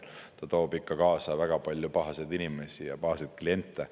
See toob ikka kaasa väga palju pahaseid inimesi ja pahaseid kliente.